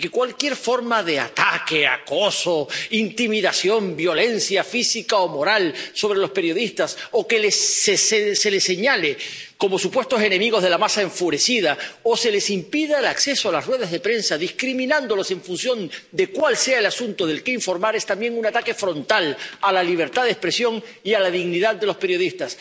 y de que cualquier forma de ataque, acoso, intimidación, violencia física o moral contra los periodistas, o señalarlos como supuestos enemigos de la masa enfurecida, o impedirles el acceso a las ruedas de prensa, discriminándolos en función de cuál sea el asunto del que informar, es también un ataque frontal a la libertad de expresión y a la dignidad de los periodistas.